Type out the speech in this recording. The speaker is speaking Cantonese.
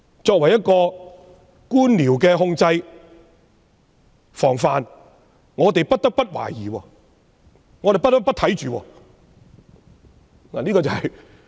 作為一個官僚的控制防範，我們不得不懷疑，我們不得不看緊。